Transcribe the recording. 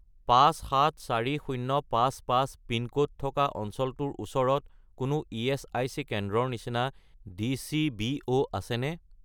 574055 pin code থকা অঞ্চলটোৰ ওচৰত কোনো ইএচআইচি কেন্দ্ৰৰ নিচিনা ডি.চি.বি.ও. আছেনে?